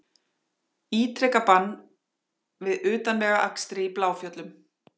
Ítreka bann við utanvegaakstri í Bláfjöllum